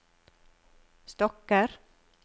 stokker